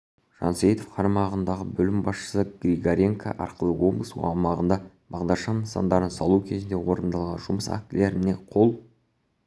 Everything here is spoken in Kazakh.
жансейітов қарамағындағы бөлім басшысы григоренко арқылы облыс аумағында бағдаршам нысандарын салу кезінде орындалған жұмыс актілеріне қол